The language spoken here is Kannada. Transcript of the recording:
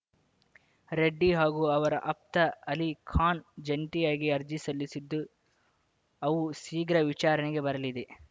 ರೆಡ್ಡಿ ಹಾಗೂ ಅವರ ಆಪ್ತ ಅಲಿ ಖಾನ್‌ ಜಂಟಿಯಾಗಿ ಅರ್ಜಿ ಸಲ್ಲಿಸಿದ್ದು ಅವು ಶೀಘ್ರ ವಿಚಾರಣೆಗೆ ಬರಲಿದೆ